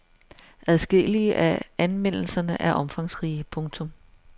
Adskillige af anmeldelserne er omfangsrige. punktum